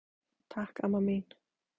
Takk amma mín.